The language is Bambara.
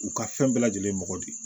U ka fɛn bɛɛ lajɛlen mɔgɔ de